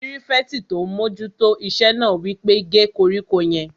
Pírífẹ̀tì tó n mójú tó iṣẹ́ náà wí pé "gé koríko yẹn!"